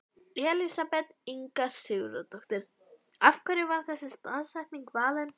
Elísabet Inga Sigurðardóttir: Af hverju var þessi staðsetning valin?